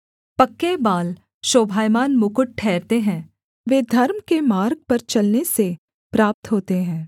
पक्के बाल शोभायमान मुकुट ठहरते हैं वे धर्म के मार्ग पर चलने से प्राप्त होते हैं